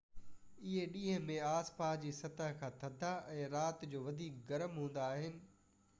اهي ڏينهن ۾ آسي پاسي جي سطح کان ٿڌا ۽ رات جو وڌيڪ گرم هوندا آهن